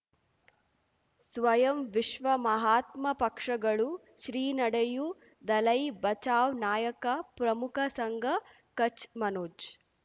ಸ್ವಯಂ ವಿಶ್ವ ಮಹಾತ್ಮ ಪಕ್ಷಗಳು ಶ್ರೀ ನಡೆಯೂ ದಲೈ ಬಚೌ ನಾಯಕ ಪ್ರಮುಖ ಸಂಘ ಕಚ್ ಮನೋಜ್